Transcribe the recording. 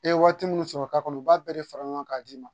E ye waati minnu sɔrɔ ka kɔnɔ u b'a bɛɛ de fara ɲɔgɔn kan ka d'i ma